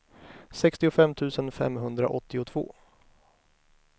sextiofem tusen femhundraåttiotvå